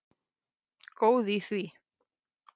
Góð í því!